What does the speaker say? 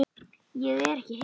Ég er ekki hissa.